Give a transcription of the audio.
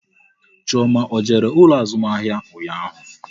Chioma ọ jere ụlọ azụmahịa ụnyaahụ?